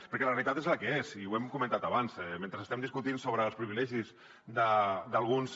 perquè la realitat és la que és i ho hem comentat abans mentre estem discutint sobre els privilegis d’alguns